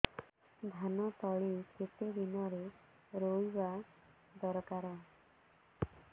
ଧାନ ତଳି କେତେ ଦିନରେ ରୋଈବା ଦରକାର